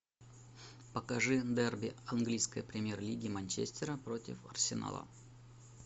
покажи дерби английской премьер лиги манчестера против арсенала